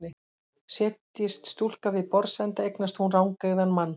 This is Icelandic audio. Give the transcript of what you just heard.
Setjist stúlka við borðsenda eignast hún rangeygðan mann.